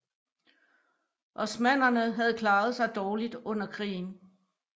Osmannerne havde klaret sig dårligt under krigen